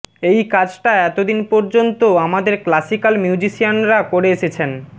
এই কাজটা এত দিন পর্যন্ত আমাদের ক্লাসিকাল মিউজিশিয়ানরা করে এসেছেন